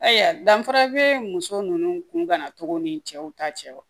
Ayiwa danfara bee muso nunnu kun ka na togo ni cɛw ta cɛ wa